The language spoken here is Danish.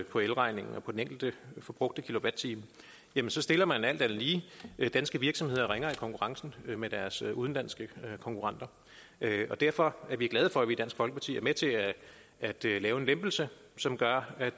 på elregningen og den enkelte forbrugte kilowatt time så stiller man alt andet lige danske virksomheder ringere i konkurrencen med deres udenlandske konkurrenter derfor er vi glade for at vi i dansk folkeparti er med til at til at lave en lempelse som gør at